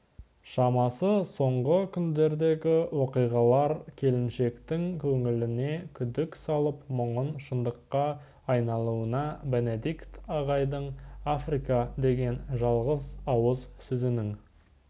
шамасы соңғы күндердегі оқиғалар келіншектің көңіліне күдік салып мұның шындыққа айналуына бенедикт ағайдың африка деген жалғыз ауыз сөзінің